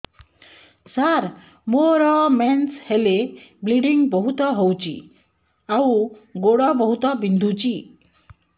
ସାର ମୋର ମେନ୍ସେସ ହେଲେ ବ୍ଲିଡ଼ିଙ୍ଗ ବହୁତ ହଉଚି ଆଉ ଗୋଡ ବହୁତ ବିନ୍ଧୁଚି